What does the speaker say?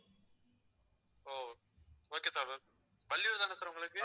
ஓ okay sir வள்ளியூர்தான sir உங்களுக்கு